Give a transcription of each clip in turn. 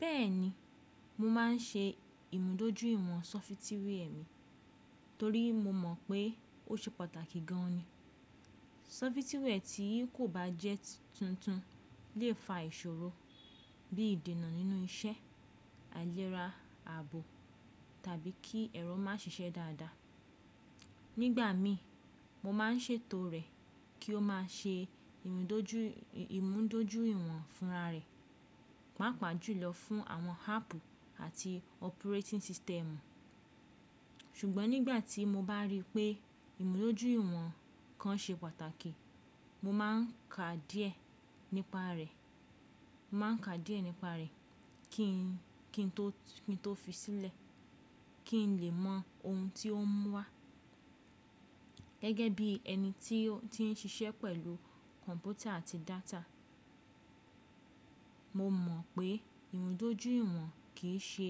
Bẹ́ẹ̀ni, mo máa ń ṣe ìmúdójúìwọ̀n sọfitíwẹ́ẹ̀ mi torí mo mọ̀ pé ó ṣe pàtàkì gan-an ni. Sọfitíwẹ́ẹ̀ tí kò bá jẹ́ tuntun lè fa ìṣòro bí i ìdènà nínú iṣẹ́, àìléra ààbò tàbí kí ẹ̀rọ má ṣiṣẹ́ dáadáa. Nígbà míì, mo máa ń ṣètò rẹ̀ kí ó máa ṣe ìmúdójúìwọ̀n fúnra rẹ̀, pàápàá jù lọ fún àwọn áàpù àti operating system. Ṣùgbọ́n nígbà tí mo bá rí pé ìmúdójú ìwọ̀n kan ṣe pàtàkì, mo má n ka díẹ̀ nípa rẹ̀ mo má ń ka díẹ̀ nípa rẹ̀, kí n kí n tó kí n tó fi sílẹ̀, kí n lè mọ ohun tí ó ń wá. Gẹ́gẹ́ bí ẹni tí ó n ti n ṣiṣẹ́ pẹ̀lú kọ̀m̀pútà àti data, mo mọ̀ pé ìmúdójú ìwọ̀n kì í ṣe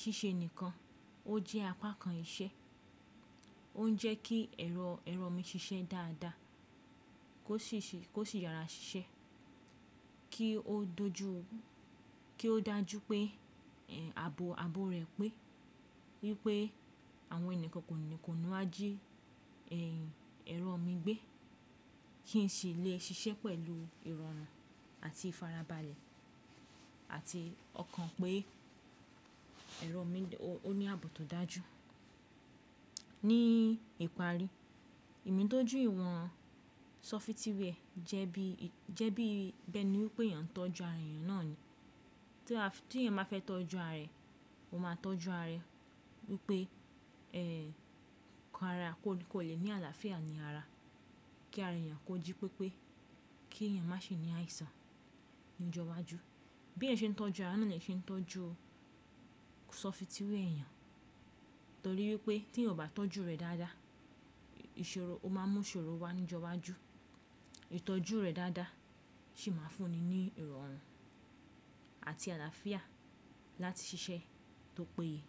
ṣíṣe nìkan, ó jẹ́ apá kan iṣẹ́. Ó n jẹ́ kí ero ẹ̀rọ mi ṣiṣẹ́ dáadáa, kó sì yàrá ṣiṣẹ́, kí ó dáa jù pé ààbò ààbò rẹ̀ pé wípé àwọn ẹyan kankan kò ní wá jí, ehm ẹ̀rọ mi gbé, kí n sì lè ṣiṣẹ́ pẹ̀lú ìrọ̀rùn àti ìfarabalẹ̀, àti ọkàn pé ẹ̀rọ mi ó ní àbò tó dáa jù. Ní ìparí, ìmúdójú ìwọ̀n sọfitíwẹ́ẹ̀ jẹ́ bí i bẹ́ni wípé èèyàn tọ́jú ara èèyàn náà ni. Tí èèyàn bá fẹ́ tọ́jú ara rẹ̀, ó máa tọ́jú ara rẹ̀ wípé, ehm kò lè ní àlàáfíà ní ara, kí ara èèyàn kó jí pépé, kí èèyàn má ṣe ní àìsàn ní ọjọ́ iwájú. Bí èèyàn ṣe ń tọ́jú ara náà ni èèyàn ṣe ń tọ́jú sọfitíwẹ́ẹ̀ ẹ̀yan, torí wípé tí ẹyan ò bá tọ́jú rẹ̀ dáadáa, ó máa mú ìṣòro wá ní ọjọ́ iwájú. Ìtọ́jú rẹ̀ dáadáa sì máa fún ni ní ìrọ̀rùn àti àlàáfíà láti ṣiṣẹ́ tó péye.